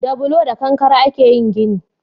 Da bulo da kankare a ke yin gini